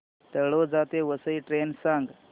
तळोजा ते वसई ट्रेन सांग